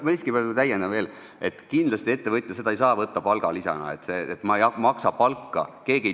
Ma siiski täiendan veel, et kindlasti ei saa ettevõtja seda võtta palgalisana.